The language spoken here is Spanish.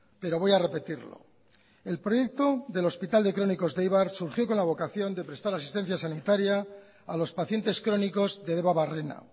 pero voy a repetirlo el proyecto del hospital de crónicos de eibar surgió con la vocación de prestar asistencia sanitaria a los pacientes crónicos de debabarrena